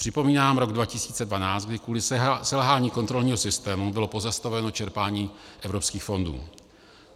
Připomínám rok 2012, kdy kvůli selhání kontrolního systému bylo pozastaveno čerpání evropských fondů.